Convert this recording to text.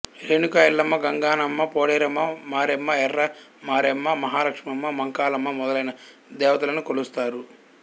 రేణుకా ఎల్లమ్మ గంగాణమ్మ పోలేరమ్మ మారెమ్మఎర్ర మారెమ్మ మహాలక్ష్మమ్మ మహంకాళమ్మమొదలైన దేవతలను కొలుస్తారు